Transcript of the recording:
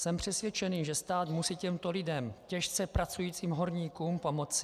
Jsem přesvědčený, že stát musí těmto lidem, těžce pracujícím horníkům, pomoci.